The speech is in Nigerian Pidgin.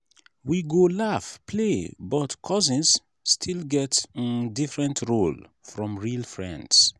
we go laugh play but cousins still get um different role from real friends.